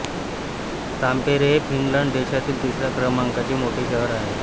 Tampere हे Finland देशातील तिसऱ्या क्रमांकाचे मोठे शहर आहे